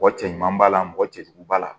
Mɔgɔ cɛ ɲuman b'a la mɔgɔ cɛ jugu b'a la